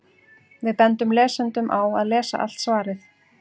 Við bendum lesendum á að lesa allt svarið.